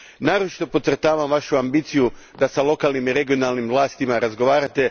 Naročito podcrtavam vašu ambiciju da s lokalnim i regionalnim vlastima razgovarate.